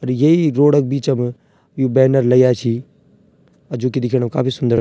अर येई रोड क बीचम यु बैनर लग्याँ छी अ जू की दिखेणम काफी सुन्दर।